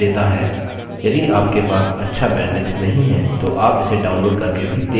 यदि आपके पास अच्छा बैन्ड्विड्थ नहीं है तो आप इसे download करके भी देख सकते हैं